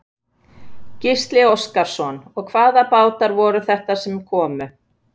Gísli Óskarsson: Og hvaða bátar voru þetta sem komu?